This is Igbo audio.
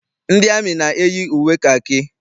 Ndị amị na-eyi uwe kakị.